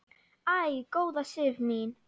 Æ, góða Sif mín!